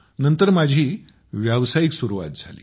नंतर माझी व्यावसायिक सुरवात झाली